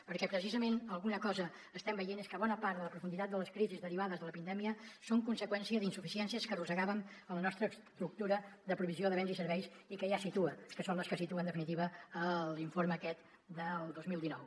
perquè precisament alguna cosa estem veient és que bona part de la profunditat de les crisis derivades de la pandèmia són conseqüència d’insuficiències que arrossegàvem en la nostra estructura de provisió de béns i serveis i que ja es situa que són les que situa en definitiva l’informe aquest del dos mil dinou